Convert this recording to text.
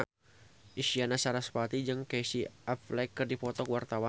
Isyana Sarasvati jeung Casey Affleck keur dipoto ku wartawan